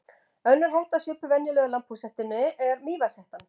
Önnur hetta svipuð venjulegu lambhúshettunni er mývatnshettan.